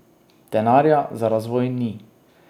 Denarja za razvoj ni.